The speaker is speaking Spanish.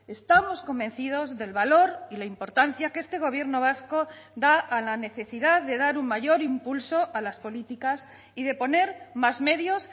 estamos convencidos del valor y la importancia que este gobierno vasco da a la necesidad de dar un mayor impulso a las políticas y de poner más medios